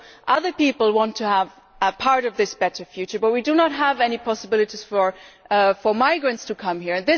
Other people also want to have a part of this better future but we do not have any possibilities for migrants to come here.